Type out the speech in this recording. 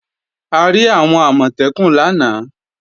A rí àwọn Àmọ̀tẹ́kùn lánàá